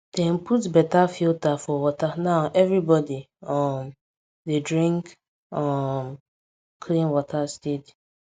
dem put better filter for water now everybody um dey drink um clean water steady